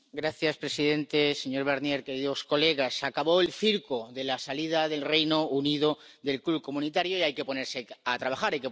Señora presidente, señor Barnier, señorías, se acabó el circo de la salida del Reino Unido del club comunitario y hay que ponerse a trabajar.